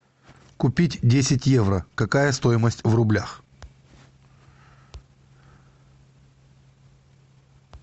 купить десять евро какая стоимость в рублях